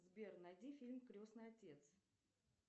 сбер найди фильм крестный отец